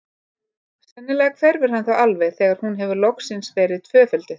Sennilega hverfur hann þá alveg þegar hún hefur loksins verið tvöfölduð.